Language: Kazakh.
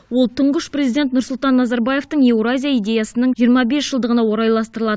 ол тұңғыш президент нұрсұлтан назарбаевтың еуразия идеясының жиырма бес жылдығына орайластырылады